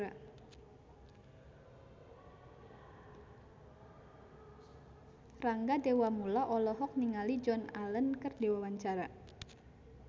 Rangga Dewamoela olohok ningali Joan Allen keur diwawancara